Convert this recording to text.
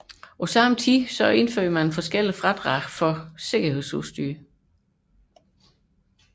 Samtidig blev der indført diverse fradrag for sikkerhedsudstyr